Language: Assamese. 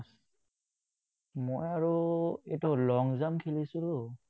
মই আৰু এইটো long-jump খেলিছিলো,